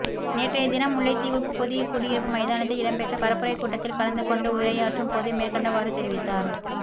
நேற்றைய தினம் முல்லைத்தீவு புதுக்குடியிருப்பு மைதானத்தில் இடம்பெற்ற பரப்புரைக் கூட்டத்தில் கலந்து கொண்டு உரையாற்றும் போதே மேற்கண்டவாறு தெரிவித்தார்